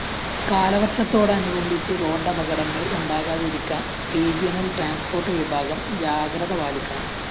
കാലവര്‍ഷത്തോടനുബന്ധിച്ച് റോഡപകടങ്ങള്‍ ഉണ്ടാകാതിരിക്കാന്‍ regional transport വിഭാഗം ജാഗ്രത പാലിക്കണം